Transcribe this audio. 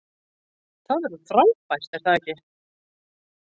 Það verður frábært er það ekki?